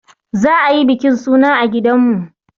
Za a yi bikin suna a gidanmu.